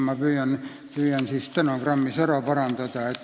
Ma püüan stenogrammis oma puterdamise ära parandada.